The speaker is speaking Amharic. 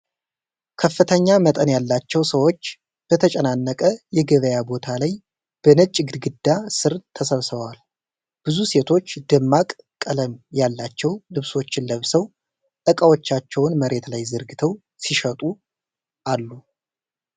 ከፍተኛ መጠን ያላቸው ሰዎች በተጨናነቀ የገበያ ቦታ ላይ በነጭ ግድግዳ ስር ተሰብስበዋል። ብዙ ሴቶች ደማቅ ቀለም ያላቸው ልብሶችን ለብሰው ዕቃዎቻቸውን መሬት ላይ ዘርግተው ሲሸጡ አሉ።